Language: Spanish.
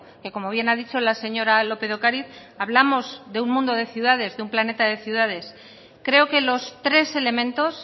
que como bien a dicho la señora lópez de ocariz hablamos de un mundo de ciudades de un planeta de ciudades creo que los tres elementos